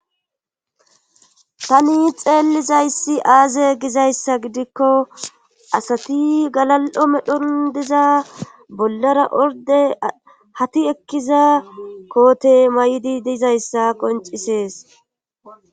tani xeellizayssi aaze gizayssa gidikko asati galal7o medhon diza bollara orde hati ekkiza koote may7di dizayssa qoncisees